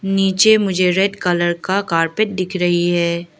नीचे मुझे red colour का कारपेट दिख रही है।